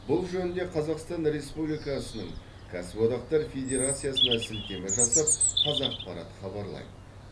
бұл жөнінде қазақстан республикасының кәсіподақтар федерациясына сілтеме жасап қазақпарат хабарлайды